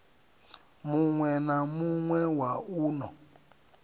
muwe na muwe wa uno